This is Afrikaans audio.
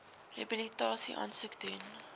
rehabilitasie aansoek doen